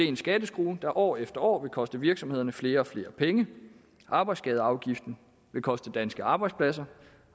en skatteskrue der år efter år vil koste virksomhederne flere og flere penge arbejdsskadeafgiften vil koste danske arbejdspladser